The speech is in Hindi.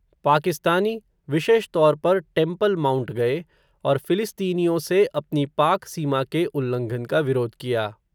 पाकिस्तानी, विशेष तौर पर, टेम्पल माउंट गये, और फ़िलिस्तीनियों से अपनी पाक सीमा के उल्लंघन का विरोध किया